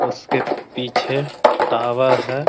उसके पीछे टावर है।